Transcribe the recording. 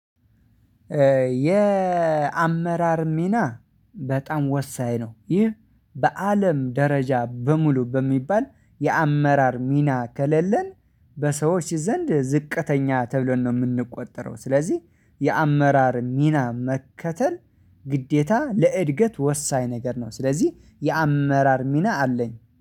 የአመራር ሚና በጣም ወሳኝ ነው። ይህ በአለም ደረጃ በሙሉ በሚባል የአመራር ሚና ከሌለን በሰዎች ዘንድ ዝቅተኛ ተብለን ነው ምንቆጠረው። ስለዚህ የአመራር ሚና መከተል ግዴታ ለእድገት ወሳኝ ነገር ነው። ስለዚህ የአመራር ሚና አለኝ